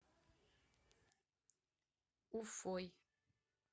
уфой